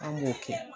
An b'o kɛ